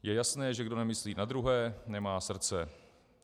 Je jasné, že kdo nemyslí na druhé, nemá srdce.